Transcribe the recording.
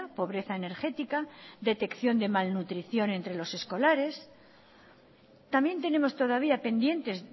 pobreza energética detección de malnutrición entre los escolares también tenemos todavía pendientes